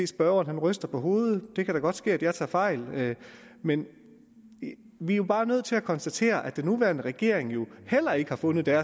spørgeren ryster på hovedet det kan da godt ske at jeg tager fejl men vi er jo bare nødt til at konstatere at den nuværende regering jo heller ikke har fundet